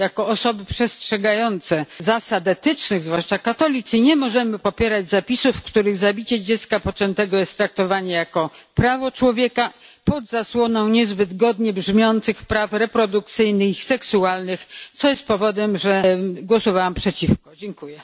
Jako osoby przestrzegające zasad etycznych, zwłaszcza katolicy, nie możemy popierać zapisów, w których zabicie dziecka poczętego jest traktowane jako prawo człowieka, pod zasłoną niezbyt godnie brzmiących praw reprodukcyjnych i seksualnych to powód, dla którego zagłosowałam przeciwko temu sprawozdaniu.